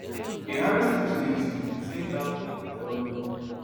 a harris presidency represent dat hope e tell me